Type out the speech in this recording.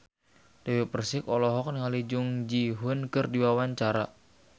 Dewi Persik olohok ningali Jung Ji Hoon keur diwawancara